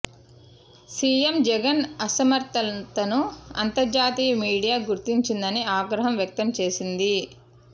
CM Jagan అసమర్థతను అంతర్జాతీయ media గుర్తించిందని ఆగ్రహం వ్యక్తం చేసింది